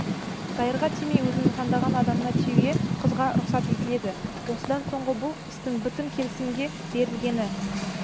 дайырға тимей өзінің таңдаған адамына тиюге қызға рұқсат етіледі осыдан соңғы бұл істің бітім келісімге берілгені